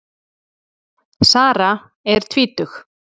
Sara er tvítug.